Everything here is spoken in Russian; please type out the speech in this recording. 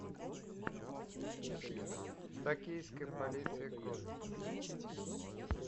токийская полиция крови